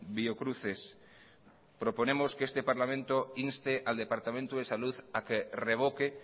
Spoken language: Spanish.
biocruces proponemos que este parlamento inste al departamento de salud a que revoque